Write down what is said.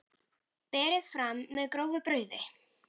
Berið fram með grófu brauði.